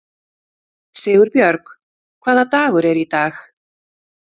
Sigurbjörg, hvaða dagur er í dag?